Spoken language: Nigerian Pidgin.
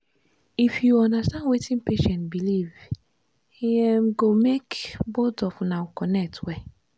if you understand wetin patient believe e um go make both of una connect well.